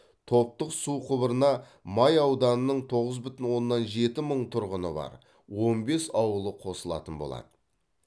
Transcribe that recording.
топтық су құбырына май ауданының тоғыз бүтін оннан жеті мың тұрғыны бар он бес ауылы қосылатын болады